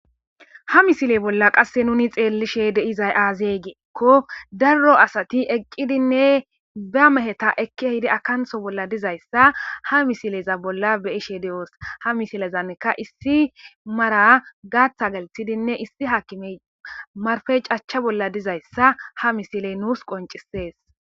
Ha misile bolla qasse nuni xeellishe de'izay aazey giiekko daro asati eqqidinne ba meheta ekki hidi akanththo bolla dizayssa ha misileza bolla beyishe de'oos ha misilezannika issi mara gaaththa galithidinne issi hakimey marfey cachcha bolla dizayssa ha misiley nuus qoncisees